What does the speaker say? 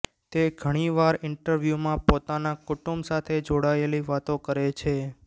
તે ઘણી વાર ઇન્ટરવ્યુમાં પોતાના કુટુંબ સાથે જોડાયેલી વાતો કરે છે